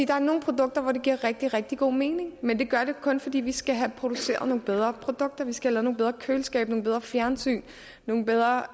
der er nogle produkter hvor det giver rigtig rigtig god mening men det gør det kun fordi vi skal have produceret nogle bedre produkter vi skal nogle bedre køleskabe nogle bedre fjernsyn nogle bedre